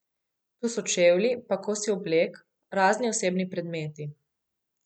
Tu so čevlji, pa kosi oblek, razni osebni predmeti.